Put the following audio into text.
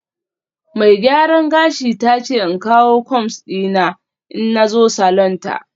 Mai gyaran gashi ta ce in kawo combs dina in na zo salon ta